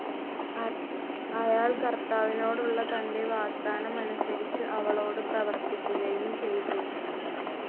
അയാൾ കർത്താവിനോടുള്ള തൻ്റെ വാഗ്ദാനമനുസരിച്ച് അവളോട് പ്രവർത്തിക്കുകയും ചെയ്തു.